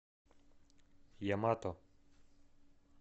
ямато